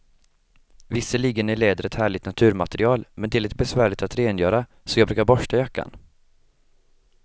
Visserligen är läder ett härligt naturmaterial, men det är lite besvärligt att rengöra, så jag brukar borsta jackan.